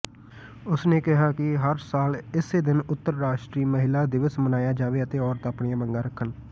ਉਸ ਨੇ ਕਿਹਾ ਕਿ ਹਰਸਾਲ ਇਸੇ ਦਿਨ ੳੰਤਰਰਾਸ਼ਟਰੀ ਮਹਿਲਾਦਿਵਸਮਨਾਇਆਜਾਵੇ ਅਤੇ ਔਰਤ ਆਪਣੀਆਂ ਮੰਗਾਂ ਰੱਖਣ